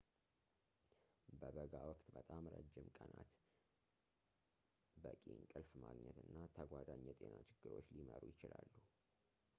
በበጋ ወቅት በጣም ረጅም ቀናት በቂ እንቅልፍ ማግኘት እና ተጓዳኝ የጤና ችግሮች ሊመሩ ይችላሉ